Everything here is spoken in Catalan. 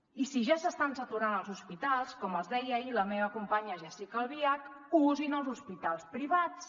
i si ja s’estan saturant els hospitals com els deia ahir la meva companya jéssica albiach usin els hospitals privats